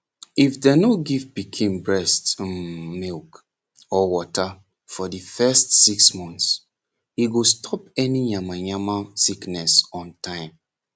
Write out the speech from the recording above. if dem no give pikin breast um milk or water for de first six months e go stop any yama yama sickness on time